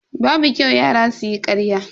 Babu kyau yara su yi ƙarya.